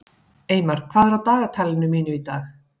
Eymar, hvað er á dagatalinu mínu í dag?